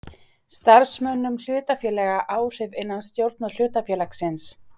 starfsmönnum hlutafélaga áhrif innan stjórnar hlutafélagsins.